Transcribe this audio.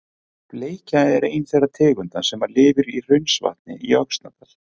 Bleikja er ein þeirra tegunda sem lifir í Hraunsvatni í Öxnadal.